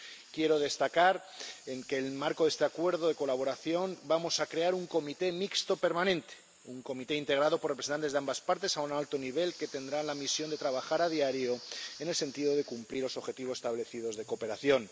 Quiero destacar que, en el marco de este Acuerdo de Colaboración y Cooperación, vamos a crear un Comité Mixto permanente, un comité integrado por representantes de ambas partes a un alto nivel que tendrá la misión de trabajar a diario en el sentido de cumplir los objetivos establecidos de cooperación.